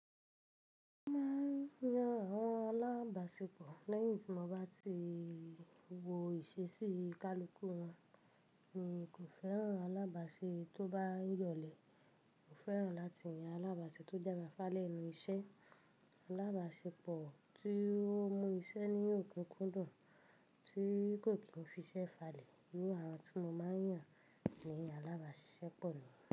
Mo máa ń yan àwọn alábàáṣepọ̀ lẹ́yìn tí mo bá ti wo ìṣesí ìkálukú wọn. N kò fẹ́ràn alábàásé tó bá yọ̀lẹ. Mo fẹ́ràn láti yan alábàásé tó jẹ́ fafá lẹ́nú iṣẹ́. Alábàáṣepọ̀ tí ó mú iṣẹ́ ní òkúkú dùn, tí kò kì í fi iṣẹ́ falẹ̀ ni àwọn tí mo máa ń yàn ní alábàásisẹ́pọ̀ lọ́wọ́.